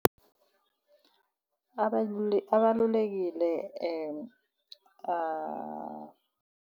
abalulekile